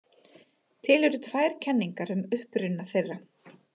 Til eru tvær kenningar um uppruna þeirra.